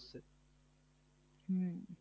হম